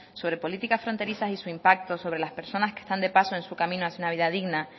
sobre política fronterizas y su impacto sobre las personas que están de paso en su camino hacia una vida digna